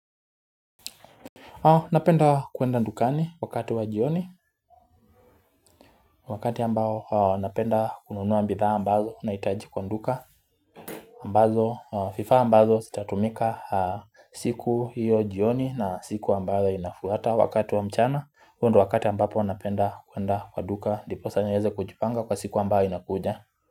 Napenda kuenda dukani wakati wa jioni, wakati ambao napenda kununua bidhaa ambazo nahitaji kwa duka, ambazo, vifaa ambazo zitatumika siku hiyo jioni na siku ambayo inafuata wakati wa mchana, huo ndo wakati ambapo napenda kuenda kwa duka ndiposa niweze kujipanga kwa siku ambayo inakuja.